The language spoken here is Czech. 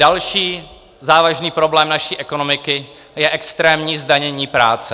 Další závažný problém naší ekonomiky je extrémní zdanění práce.